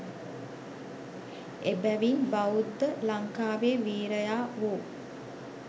එබැවින් බෞද්ධ ලංකාවේ වීරයා වූ